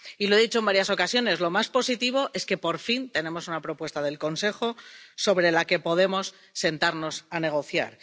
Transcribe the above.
Y lo he dicho en varias ocasiones lo más positivo es que, por fin, tenemos una propuesta del Consejo sobre la que podemos sentarnos a negociar.